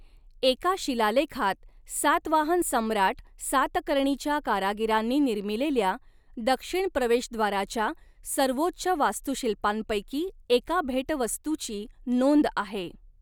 एका शिलालेखात सातवाहन सम्राट सातकर्णीच्या कारागिरांनी निर्मिलेल्या दक्षिण प्रवेशद्वाराच्या सर्वोच्च वास्तुशिल्पांपैकी एका भेटवस्तूची नोंद आहे.